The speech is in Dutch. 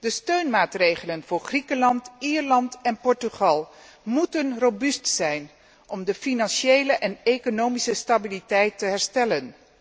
De steunmaatregelen voor Griekenland, Ierland en Portugal moeten robuust zijn om de financiële en economische stabiliteit te herstellen.